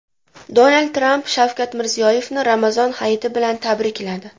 Donald Tramp Shavkat Mirziyoyevni Ramazon hayiti bilan tabrikladi.